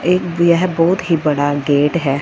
एक यह बहोत ही बड़ा गेट है।